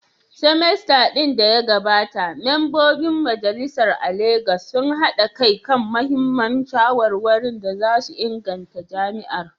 semester din da ya gabata, Mambobin Majalisar a Legas sun haɗa kai kan muhimman shawarwarin da za su inganta jami’ar.